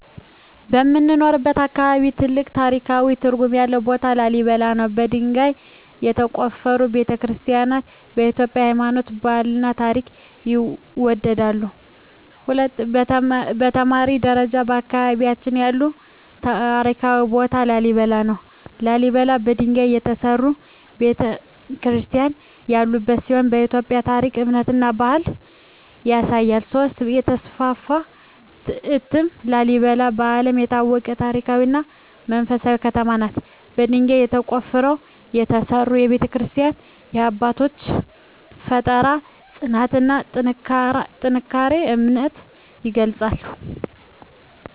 በምኖርበት አካባቢ ትልቅ ታሪካዊ ትርጉም ያለው ቦታ ላሊበላ ነው። በድንጋይ የተቆፈሩ ቤተ-ክርስቲያናትዋ የኢትዮጵያን ሃይማኖታዊና ባህላዊ ታሪክ ይወክላሉ። 2) የተማሪ ደረጃ በአካባቢያችን ያለው ታሪካዊ ቦታ ላሊበላ ነው። ላሊበላ በድንጋይ የተሠሩ ቤተ-ክርስቲያናት ያሉበት ሲሆን የኢትዮጵያን ታሪክ፣ እምነትና ባህል ያሳያል። 3) የተስፋፋ እትም ላሊበላ በዓለም የታወቀች ታሪካዊ እና መንፈሳዊ ከተማ ናት። በድንጋይ ተቆፍረው የተሠሩ ቤተ-ክርስቲያናትዋ የአባቶቻችንን ፍጠራ፣ ጽናትና ጠንካራ እምነት ይገልጻሉ።